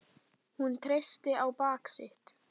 Hún treysti á bak sitt.